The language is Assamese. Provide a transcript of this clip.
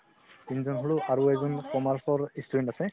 আৰু এজন commerce ৰ student আছে